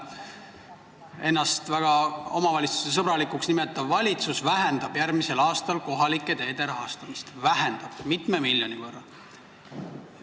Ennast väga omavalitsuste sõbralikuks nimetav valitsus vähendab järgmisel aastal kohalike teede rahastamist mitme miljoni võrra.